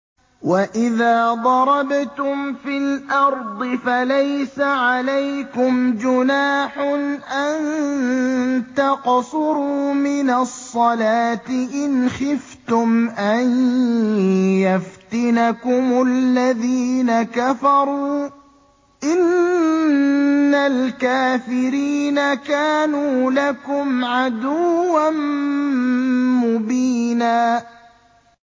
وَإِذَا ضَرَبْتُمْ فِي الْأَرْضِ فَلَيْسَ عَلَيْكُمْ جُنَاحٌ أَن تَقْصُرُوا مِنَ الصَّلَاةِ إِنْ خِفْتُمْ أَن يَفْتِنَكُمُ الَّذِينَ كَفَرُوا ۚ إِنَّ الْكَافِرِينَ كَانُوا لَكُمْ عَدُوًّا مُّبِينًا